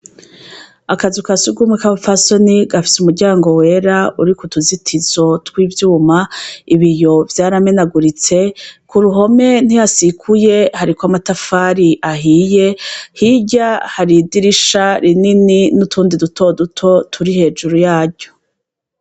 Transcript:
Akazu ka sugumwe kabapfasoni gafise umuryango wera uriko utuzitizo twivyuma ibiyo vyaramenaguritse kuruhome ntihasikuye hariko amatafari ahiye hirya hari idirisha rinini nutundi dutoduto turi hejuru yaryo.